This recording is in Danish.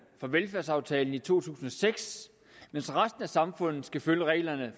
fra velfærdsaftalen i to tusind og seks mens resten af samfundet skal følge reglerne